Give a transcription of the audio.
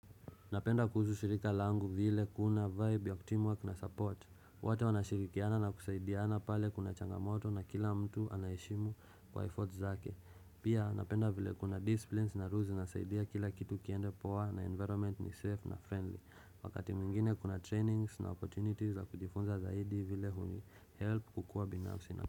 Napenda kuhusu shirika langu vile kuna vibe ya teamwork na support, wote wanashirikiana na kusaidiana pale kuna changamoto na kila mtu anayeshimu kwa effort zake, pia napenda vile kuna disciplines na rules zinasaidia kila kitu kiende poa na environment ni safe na friendly, wakati mwingine kuna trainings na opportunities za kujifunza zaidi vile hunihelp kukuwa binafsi na.